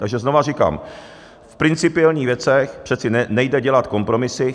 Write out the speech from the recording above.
Takže znova říkám: V principiálních věcech přece nejde dělat kompromisy.